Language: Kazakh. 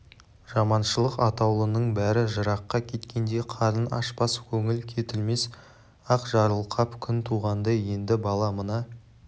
жаманшылық атаулының бәрі жыраққа кеткендей қарын ашпас көңіл кетілмес ақ жарылқап күн туғандай енді бала мына